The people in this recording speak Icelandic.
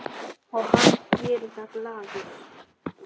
Og hann gerir það glaður.